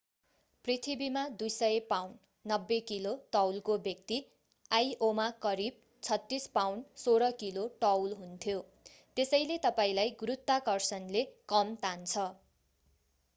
पृथ्वीमा 200 pound 90 kilo तौलको व्यक्ति आइओमा करिब 36 पाउण्ड 16 किलो तौल हुन्थ्यो। त्यसैले तपाईंलाई गुरुत्वाकर्षणले कम तान्छ।